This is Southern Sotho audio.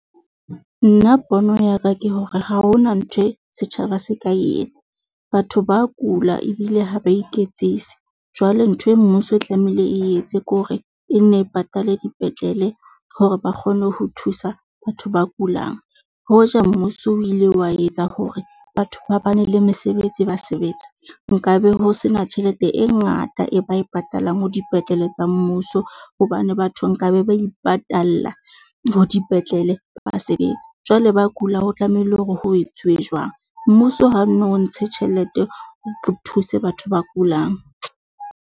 Nna pono ya ka ke hore ha ho na ntho e setjhaba se ka etsa batho ba kula ebile ha ba iketsise. Jwale ntho e mmuso e tlamehile e etse ke hore e nne patale dipetlele hore ba kgone ho thusa batho ba kulang. Hoja mmuso o ile wa etsa hore batho ba bane le mesebetsi ba sebetsa, nkabe ho sena tjhelete e ngata e ba e patalang ho dipetlele tsa mmuso. Hobane batho nkabe ba ipatalla ho dipetlele ba basebetsi jwale ba kula. Ho tlamehile hore ho etsuwe jwang? Mmuso ha no ntshe tjhelete, o thuse batho ba kulang.